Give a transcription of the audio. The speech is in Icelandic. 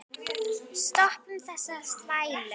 Stoppum þessa þvælu.